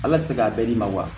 Ala tɛ se k'a bɛɛ d'i ma wa